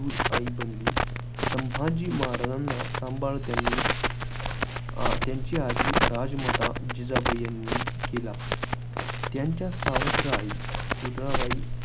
दूध आई बनली. संभाजीं महाराजांचा सांभाळ त्यांची अं आजी राजमाता जिजाबाई यांनी केला. त्यांच्या सावत्र आई, पुतळाबाई